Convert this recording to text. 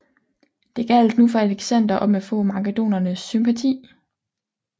Det gjaldt nu for Alexander om at få makedonernes sympati